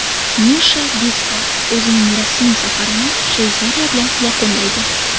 Nisha Bisval o‘zining rasmiy safarini Shveysariya bilan yakunlaydi.